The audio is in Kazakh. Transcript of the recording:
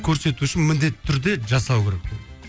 көрсету үшін міндетті түрде жасау керек